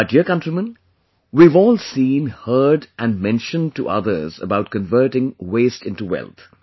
My dear countrymen, we have all seen, heard and mention to others about converting waste into wealth